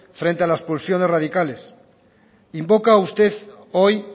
frente a la expulsión de los radicales invoca usted hoy